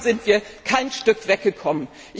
Und davon sind wir kein Stück weggekommen.